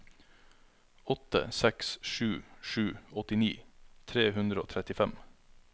åtte seks sju sju åttini tre hundre og trettifem